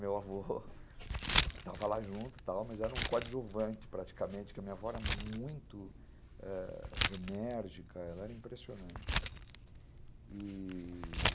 Meu avô estava lá junto, mas era um coadjuvante praticamente, porque a minha avó era muito ãh enérgica, ela era impressionante, e...